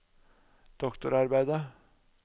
doktorarbeidet